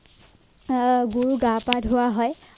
আহ গৰু গা পা ধোৱা হয়